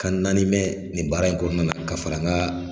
Kan naani mɛn nin baara in kɔnɔna na ka fara n ka